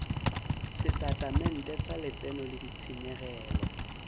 setatamente sa letseno le ditshenyegelo